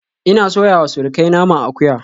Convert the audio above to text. Ina soyawa surukai naman akuya